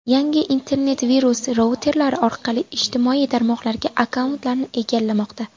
Yangi internet-virus routerlar orqali ijtimoiy tarmoqlardagi akkauntlarni egallamoqda.